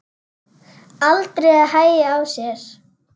Aldrei að hægja á sér.